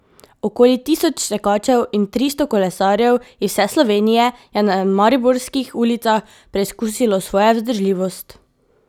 Okoli tisoč tekačev in tristo kolesarjev iz vse Slovenije je na mariborskih ulicah preizkusilo svojo vzdržljivost.